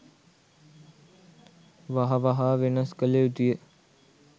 වහ වහා වෙනස් කළ යුතුය